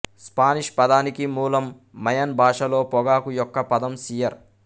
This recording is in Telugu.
స్పానిష్ పదానికి మూలం మయన్ భాషలో పొగాకు యొక్క పదం సియర్